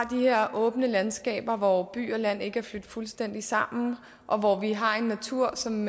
de her åbne landskaber hvor by og land ikke er flydt fuldstændig sammen og hvor vi har en natur som